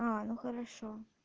а ну хорошо